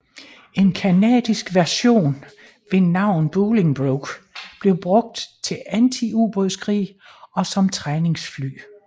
En canadisk version ved navn Bolingbroke blev brugt til antiubådskrig og som træningsfly